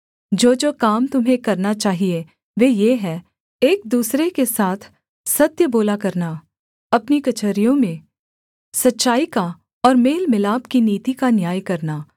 जोजो काम तुम्हें करना चाहिये वे ये हैं एक दूसरे के साथ सत्य बोला करना अपनी कचहरियों में सच्चाई का और मेल मिलाप की नीति का न्याय करना